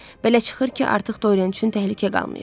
Belə çıxır ki, artıq Doryen üçün təhlükə qalmayıb.